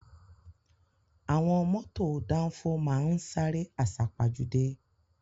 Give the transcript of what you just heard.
Àwọn mọ́tò dánfó máá ń sáré àsápajúdé